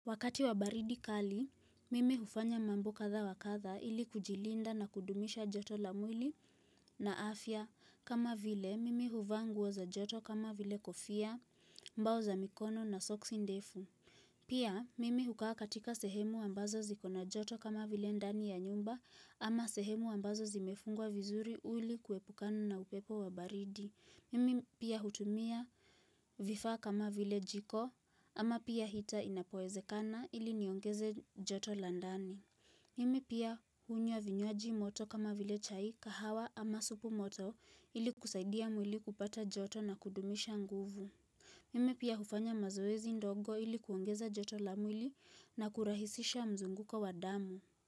Wakati wa baridi kali, mimi hufanya mambo kadha wa kadha ili kujilinda na kudumisha joto la mwili. Na afya kama vile mimi huvaa nguo za joto kama vile kofia mbao za mikono na soksi ndefu. Pia mimi hukaa katika sehemu ambazo ziko na joto kama vile ndani ya nyumba ama sehemu ambazo zimefungwa vizuri ili kuepukana na upepo wa baridi. Mimi pia hutumia vifaa kama vile jiko ama pia hita inapowezekana ili niongeze joto la ndani. Mimi pia hunywa vinywaji moto kama vile chai kahawa ama supu moto ili kusaidia mwili kupata joto na kudumisha nguvu. Mimi pia hufanya mazoezi ndogo ili kuongeza joto la mwili na kurahisisha mzunguko wa damu.